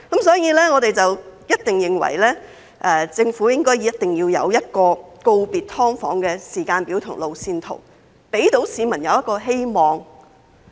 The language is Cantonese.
所以，我們認為政府一定要有一個告別"劏房"的時間表和路線圖，讓市民有希望。